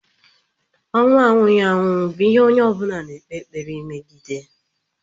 Ọnwụ anwụghị anwụ bụ ihe onye ọ bụla na-ekpe ekpere megide.